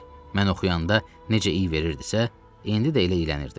Mən oxuyanda necə iy verirdisə, indi də elə iylənirdi.